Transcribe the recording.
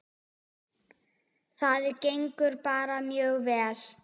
Það gengur bara mjög vel.